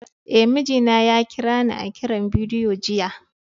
Eh, mijina ya kira ni a kiran bidiyo jiya.